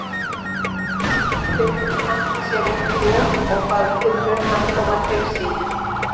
Finnur henti sér upp í rúm og bað Tinnu að koma til sín.